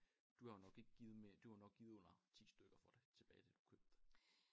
Du har jo nok ikke givet du har jo nok givet under 10 stykker for det tilbage da du købte det